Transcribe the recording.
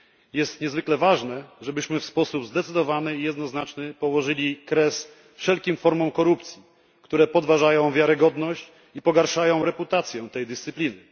Jest niezwykle ważne, żebyśmy w sposób zdecydowany i jednoznaczny położyli kres wszelkim formom korupcji, które podważają wiarygodność i pogarszają reputację tej dyscypliny.